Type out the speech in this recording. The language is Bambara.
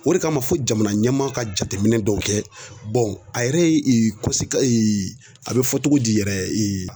O de kama fo jamana ɲɛmaa ka jateminɛ dɔw kɛ a yɛrɛ ye a bɛ fɔ cogo di yɛrɛ